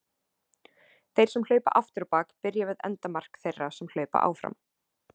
Þeir sem hlaupa aftur á bak byrja við endamark þeirra sem hlaupa áfram.